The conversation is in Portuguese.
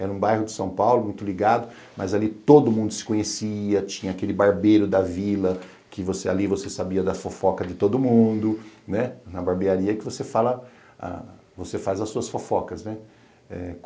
Era um bairro de São Paulo muito ligado, mas ali todo mundo se conhecia, tinha aquele barbeiro da vila que você ali você sabia da fofoca de todo mundo, né, na barbearia que você faz as suas fofocas, né?